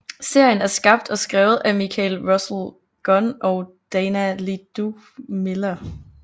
Serien er skabt og skrevet af Michael Russell Gunn og Dana Ledoux Miller